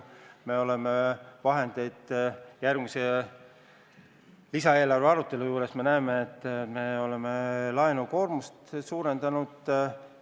Järgmise, lisaeelarve arutelu juures me näeme, et oleme laenukoormust suurendanud.